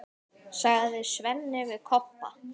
sagði Svenni við Kobba.